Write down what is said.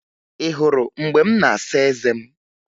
Ị hụrụ mgbe m na-asa eze m?